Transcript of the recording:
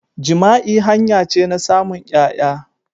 Jima'i hanya ce na samun ƴaya.